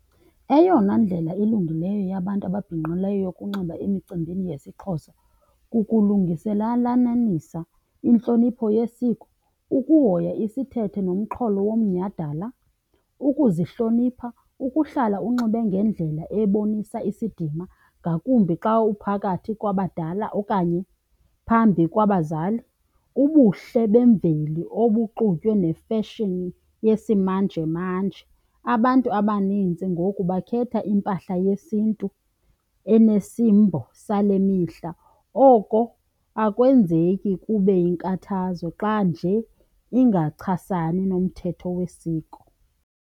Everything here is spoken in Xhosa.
Eyona ndlela ilungileyo yabantu ababhinqileyo yokunxiba emicimbini yesiXhosa kukulungiselanisa intlonipho yesiko, ukuhoya isithethe nomxholo womnyadala, ukuzihlonipha, ukuhlala unxibe ngendlela ebonisa isidima, ngakumbi xa uphakathi kwabadala okanye phambi kwabazali. Ubuhle bemveli obuxutywe ne-fashion yesimanjemanje, abantu abanintsi ngoku bakhetha impahla yesintu enesimbo sale mihla oko akwenzeki kube yinkathazo xa nje kungachasani nomthetho wesiko.